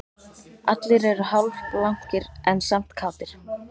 Allir eru hálfblankir en samt kátir